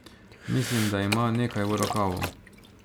Mislim, da ima nekaj v rokavu.